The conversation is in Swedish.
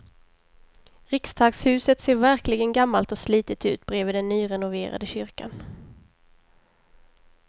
Riksdagshuset ser verkligen gammalt och slitet ut bredvid den nyrenoverade kyrkan.